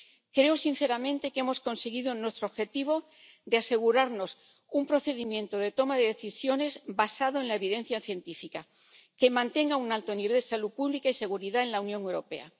creo sinceramente que hemos conseguido nuestro objetivo de asegurarnos un procedimiento de toma de decisiones, basado en la evidencia científica, que mantenga un alto nivel de salud pública y seguridad en la Unión Europea.